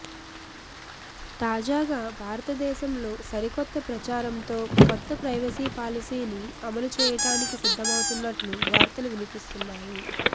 తాజాగా భారతదేశంలో సరికొత్త ప్రచారంతో కొత్త ప్రైవసీ పాలసీని అమలు చేయడానికి సిద్ధం అవుతున్నట్లు వార్తలు వినిపిస్తున్నాయి